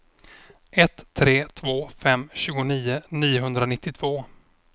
ett tre två fem tjugonio niohundranittiotvå